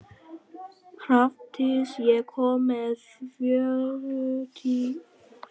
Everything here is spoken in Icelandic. Hrafndís, ég kom með fjörutíu og níu húfur!